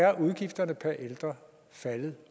er udgifterne per ældre faldet